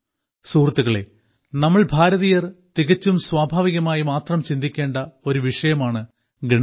സുഹൃത്തുക്കളേ നമ്മൾ ഭാരതീയർ തികച്ചും സ്വാഭാവികമായി മാത്രം ചിന്തിക്കേണ്ട ഒരു വിഷയമാണ് ഗണിതം